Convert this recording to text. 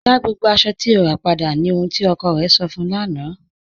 Dá gbogbo aṣọ̀ tí o rà padà, ní ọhun tí ọkọ̀ rẹ̀ sọ̀ fun ụ lána